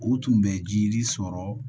O tun bɛ jiri sɔrɔ